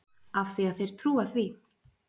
Af því að þeir trúa því.